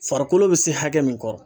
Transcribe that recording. Farikolo bɛ se hakɛ min kɔrɔ.